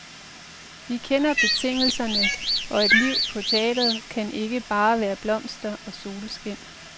Vi kender betingelserne, og et liv på teatret kan ikke bare være blomster og solskin.